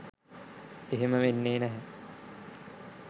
එහෙම වෙන්නේ නැහැ